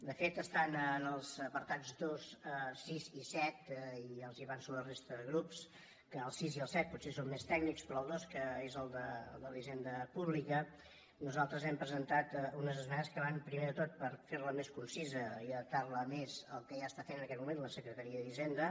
de fet estan en els apartats dos sis i set i ja els avanço a la resta de grups que el sis i el set potser són més tècnics però al dos que és de la hisenda pública nosaltres hem presentat unes esmenes que van primer de tot a fer la més concisa i adaptar la més al que ja està fent en aquest moment la secretaria d’hisenda